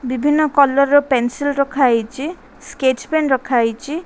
ବିଭିନ୍ନ କଲର୍ ର ପେନ୍ସିଲ ରଖାହେଇଛି ସ୍କେଚ ପେନ ରଖାହେଇଛି।